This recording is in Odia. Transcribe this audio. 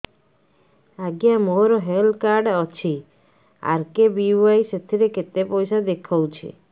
ଆଜ୍ଞା ମୋର ହେଲ୍ଥ କାର୍ଡ ଅଛି ଆର୍.କେ.ବି.ୱାଇ ସେଥିରେ କେତେ ପଇସା ଦେଖଉଛି